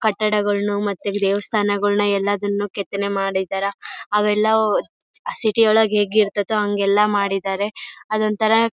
ಕಟ್ಟಡಗಳನ್ನು ಮತ್ತೆ ದೇವಸ್ಥಾನಗಳನ್ನು ಎಲ್ಲದನ್ನು ಕೆತ್ತನೆ ಮಾಡಿದ್ದಾರಾ ಅವೆಲ್ಲ ಸಿಟಿ ಒಳ್ಗಡೆ ಹೇಗೆರ್ತೈತೋ ಹಂಗೆಲ್ಲಾ ಮಾಡಿದ್ದಾರೆ ಅದೊಂತರ--